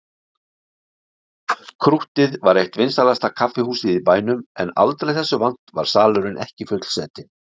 Krúttið var eitt vinsælasta kaffihúsið í bænum en aldrei þessu vant var salurinn ekki fullsetinn.